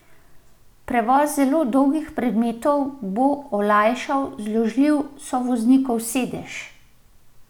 Prevoz zelo dolgih predmetov bo olajšal zložljiv sovoznikov sedež.